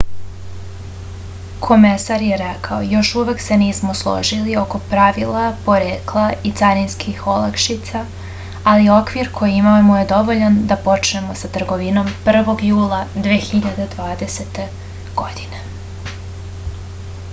komesar je rekao još uvek se nismo složili oko pravila porekla i carinskih olakšica ali okvir koji imamo je dovoljan da počnemo sa trgovinom 1. jula 2020. godine